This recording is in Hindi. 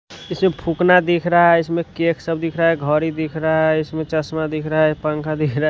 इसमें फूकना दिख रहा है इसमें केक सब दिख रहा है घड़ी दिख रहा है इसमें चश्मा दिख रहा है पंखा दिख रहा।